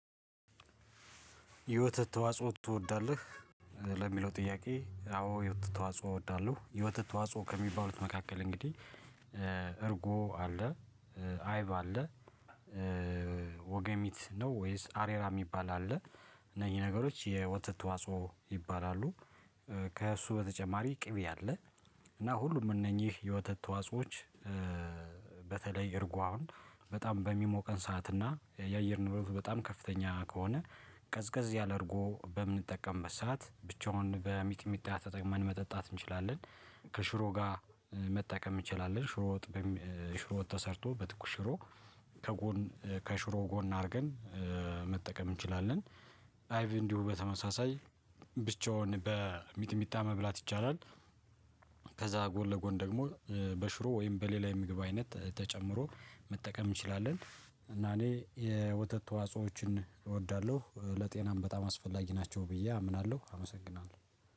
የወተት ተዋጽኦ ትወዳለህ? ለሚለው ጥያቄ አዎ የወተት ተዋጽኦ እወዳለሁ የወተት ዋጽኦ ከሚባሉት መካከል እንግዲህ እርጎ አለ፣ አይብ አለ፣ ወገሚት ነው ወይስ አሬራ የሚባል አለ፣ እነኝህ ነገሮች የወተት ተዋጽኦ ይባላሉ። ከእሱ በተጨማሪ ቅቤ አለ እና ሁሉም እነኚህ የወተት ተዋጾዎች እርጎ አሁን በጣም በሚሞቀን ሰዓት እና የአየር ንብረቱ በጣም ከፍተኛ ከሆነ ቀዝቀዝ ያለ እርጎ በምንጠቀምበት ሰዓት ብቻውን በሚጥሚጣ ተጠቅመን መጠጣት እንችላለን። ከሽሮ ጋር መጠቀም እንችላለን። ሽሮ ሽሮ ወጥ ሽሮ ወጥ ተሰርቶ በትኩሽ ሽሮ ከጎን ከሽሮ ጎን አድርገን መጠቀም እንችላለን። አይቪ እንዲሁ በተመሳሳይ ብቻውን በሚትሚታ መብላት ይቻላል። ከዛ ጎን ለጎን ደግሞ በሽሮ ወይም በሌላ የምግብ አይነት ተጨምሮ መጠቀም እንችላለን እና እኔ የወተት ተዋጾዎችን እወዳለሁ ለጤናም በጣም አስፈላጊ ናቸው ብዬ አምናለሁ አመሰግናለሁ።